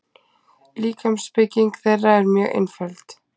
Líkamsbygging þeirra er mjög einföld.